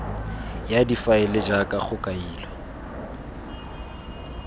ya difaele jaaka go kailwe